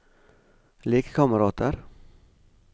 lekekamerater